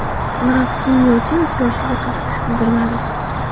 Biroq Kim Yo Chen uchrashuvga qiziqish bildirmadi.